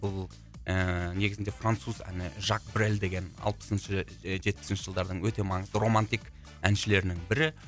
бұл ііі негізінде француз әні жак брель деген алпысыншы жетпісінші жылдардың өте маңызды романтик әншілерінің бірі